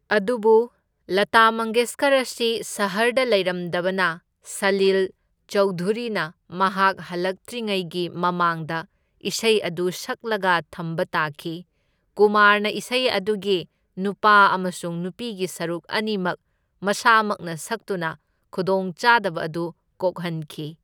ꯑꯗꯨꯕꯨ ꯂꯥꯇꯥ ꯃꯪꯒꯦꯁꯀꯔ ꯑꯁꯤ ꯁꯍꯔꯗ ꯂꯩꯔꯝꯗꯕꯅ ꯁꯂꯤꯜ ꯆꯧꯙꯨꯔꯤꯅ ꯃꯍꯥꯛ ꯍꯜꯂꯛꯇ꯭ꯔꯤꯉꯩꯒꯤ ꯃꯃꯥꯡꯗ ꯏꯁꯩ ꯑꯗꯨ ꯁꯛꯂꯒ ꯊꯝꯕ ꯇꯥꯈꯤ, ꯀꯨꯃꯥꯔꯅ ꯏꯁꯩ ꯑꯗꯨꯒꯤ ꯅꯨꯄꯥ ꯑꯃꯁꯨꯡ ꯅꯨꯄꯤꯒꯤ ꯁꯔꯨꯛ ꯑꯅꯤꯃꯛ ꯃꯁꯥꯃꯛꯅ ꯁꯛꯇꯨꯅ ꯈꯨꯗꯣꯡꯆꯥꯗꯕ ꯑꯗꯨ ꯀꯣꯛꯍꯟꯈꯤ꯫